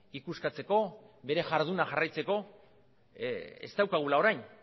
ikuskatzeko bere jarduna jarraitzeko ez daukagula orain